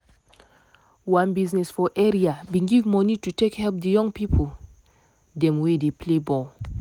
one biznes for area bin give moni to take help the young pipo dem wey dey play ball.